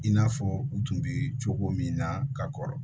In n'a fɔ u tun bɛ cogo min na ka kɔrɔ